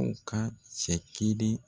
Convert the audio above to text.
u ka cɛ kelen.